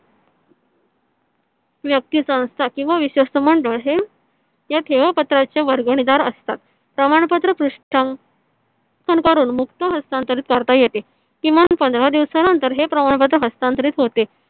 व्यक्ती संस्था किंवा विश्वस्त मंडळ हे या ठेवापत्राचे वर्गणीदार असतात. प्रमाणपत्र पृष्ठ करून मुक्त हस्तांतरित करता येते. किमान पंधरा दिवसानंतर हे प्रमाणपत्र हस्तांतरित होते